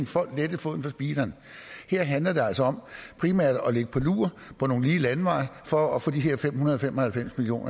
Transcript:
folk lettede foden fra speederen her handler det altså primært om at ligge på lur på nogle lige landeveje for at få de her fem hundrede og fem og halvfems million